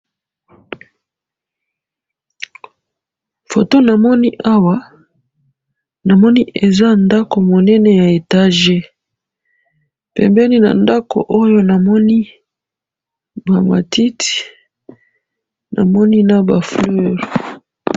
photo na moni awa eza ndako munene ya eteges pembeni namoni matit naba fleur